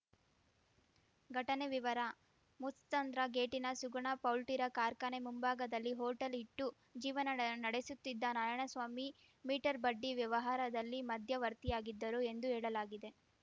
ಘಟನೆ ವಿವರ ಮುತ್ಸಂದ್ರ ಗೇಟಿನ ಸುಗುಣ ಪೌಲ್ಟಿರ ಕಾರ್ಖಾನೆ ಮುಂಭಾಗದಲ್ಲಿ ಹೊಟೇಲ್‌ ಇಟ್ಟು ಜೀವನ ಡೆ ನಡೆಸುತ್ತಿದ್ದ ನಾರಾಯಣಸ್ವಾಮಿ ಮೀಟರ್ ಬಡ್ಡಿ ವ್ಯವಹಾರದಲ್ಲಿ ಮಧ್ಯವರ್ತಿಯಾಗಿದ್ದರು ಎಂದು ಹೇಳಲಾಗಿದೆ